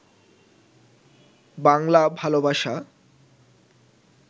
বাংলা ভালবাসা